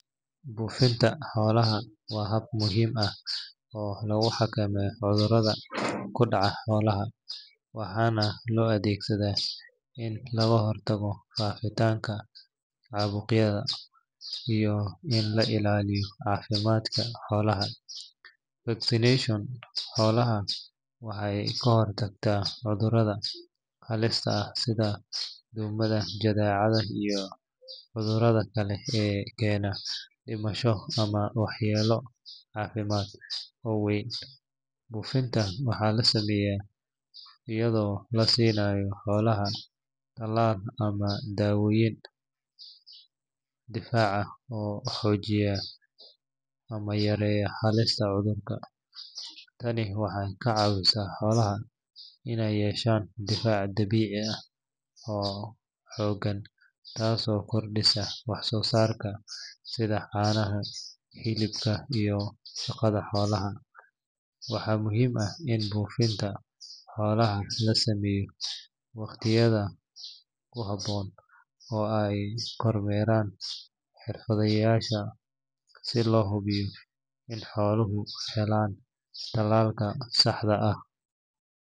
Bufinta xoolaha waa hab muhiim ah oo lagu xakameeyo cudurrada ku dhaca xoolaha waxaana loo adeegsadaa in laga hortago faafitaanka caabuqyada iyo in la ilaaliyo caafimaadka xoolaha. Vaccination xoolaha waxay ka hortagtaa cudurrada halista ah sida duumada, jadeecada, iyo cudurada kale ee keena dhimasho ama waxyeello caafimaad oo weyn. Bufinta waxaa la sameeyaa iyadoo la siinayo xoolaha tallaal ama daawooyin difaac ah oo joojiya ama yaraynaya halista cudurka. Tani waxay ka caawisaa xoolaha inay yeeshaan difaac dabiici ah oo xooggan, taasoo kordhisa wax soo saarka sida caanaha, hilibka, iyo shaqada xoolaha. Waxaa muhiim ah in bufinta xoolaha la sameeyo waqtiyada ku habboon oo ay kormeeraan xirfadlayaasha si loo hubiyo in xooluhu helaan tallaalka saxda ah.